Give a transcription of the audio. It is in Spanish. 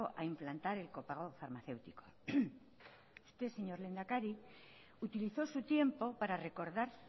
a implantar el copago farmacéutico usted señor lehendakari utilizó su tiempo para recordar